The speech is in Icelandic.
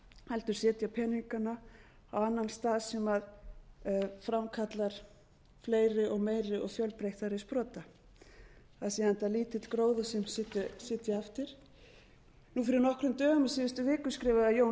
heldur setja peningana á annan stað sem framkalli fleiri og meiri og fjölbreyttari sprota það sé enda lítill gróður sem sitji eftir fyrir nokkrum dögum í síðustu viku skrifaði jón